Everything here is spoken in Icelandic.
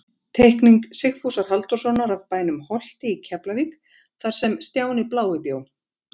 Teikning Sigfúsar Halldórssonar af bænum Holti í Keflavík þar sem Stjáni blái bjó.